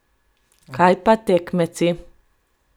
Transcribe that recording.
Kaj pa tekmeci?